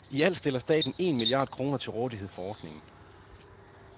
I alt stiller staten et milliard kroner til rådighed for ordningen.